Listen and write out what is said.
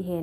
ይሄ ነው።